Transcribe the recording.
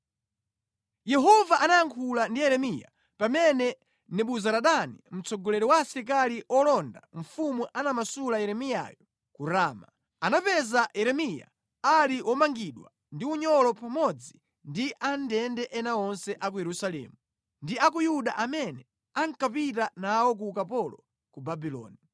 Yehova anayankhula ndi Yeremiya pamene Nebuzaradani mtsogoleri wa asilikali olonda mfumu anamasula Yeremiyayo ku Rama. Anamupeza Yeremiya ali womangidwa ndi unyolo pamodzi ndi amʼndende ena onse a ku Yerusalemu ndi a ku Yuda amene ankapita nawo ku ukapolo ku Babuloni.